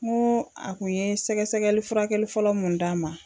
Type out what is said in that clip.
N ko a kun ye sɛgɛsɛgɛli furakɛli fɔlɔ mun d'an ma.